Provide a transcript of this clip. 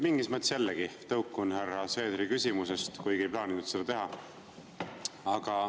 Mingis mõttes jällegi tõukun härra Seederi küsimusest, kuigi ei plaaninud seda teha.